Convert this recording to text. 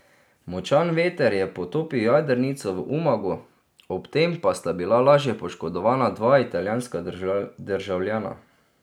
Močan veter je potopil jadrnico v Umagu, ob tem pa sta bila lažje poškodovana dva italijanska državljana.